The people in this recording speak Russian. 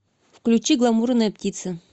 включи гламурная птица